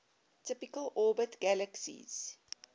typically orbit galaxies